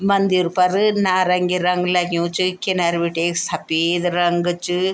मंदिर पर नारंगी रंग लग्युं च किनर बिटे एक सपेद रंग च।